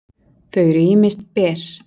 þau eru ýmist ber